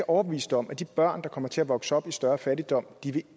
overbevist om at de børn der kommer til at vokse op i større fattigdom